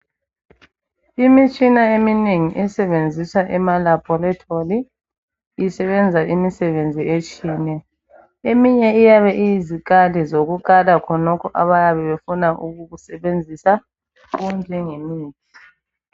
Imitshina eminengi esebenziswa ema laboratory isebenza imisebenzi etshiyeneyo. Eminye iyabe iyizikali zokukala khonokhu abayabe befuna ukukusebenzisa okunjengemithi.